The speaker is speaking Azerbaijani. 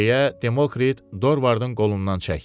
deyə Demokrit Dorvardın qolundan çəkdi.